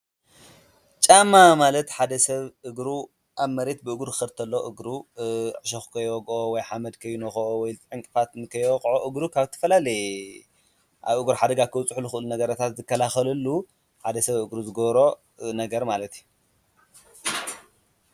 ጫማ ማለት ሓደ ሰብ እግሩ ኣብ መሬት ብእግሪ ክኸድ ተሎ እግሩ ዕሸኽ ኮይወግኦ ወይ ሓመድ ከይንኸኦ ወይ ዕንቕፋት ንከይወቕዖ እግሩ ካብ ዝተፈላለየ ኣብ እግሪ ሓደጋ ከብፅሑ ዝኽእሉ ነገራታት ዘከላኸለሉ ሓደ ሰብ እግሩ ዝገብሮ ነገር ማለት እዩ፡፡